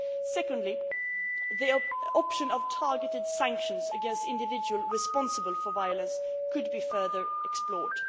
Guinea. Secondly, the option of targeted sanctions against individuals responsible for violence could be further explored.